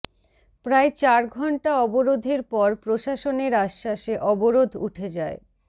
প্রায় চার ঘণ্টা অবরোধের পর প্রশাসনের আশ্বাসে অবরোধ উঠে যায়